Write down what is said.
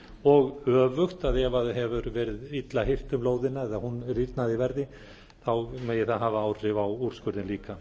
og öfugt ef það hefur verið illa hirt um lóðina eða hún rýrnað í verði megi það hafa áhrif á úrskurðinn líka